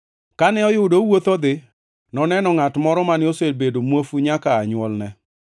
Kane oyudo owuotho odhi, noneno ngʼat moro mane osebedo muofu nyaka aa nywolne.